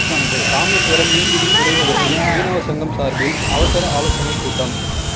ராமேஸ்வரம் மீன்பிடித் துறைமுகத்தில் மீனவ சங்கம் சார்பில் அவசர ஆலோசனைக் கூட்டம்